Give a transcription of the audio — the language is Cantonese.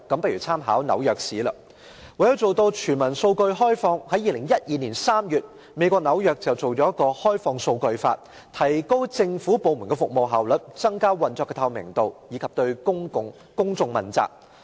為了做到全民數據開放，在2012年3月，美國紐約訂立了《開放數據法》，以提高政府部門的服務效率、增加其運作的透明度，以及對公眾問責。